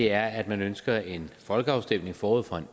er at man ønsker en folkeafstemning forud for